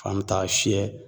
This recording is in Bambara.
K'an mɛ taa fiyɛ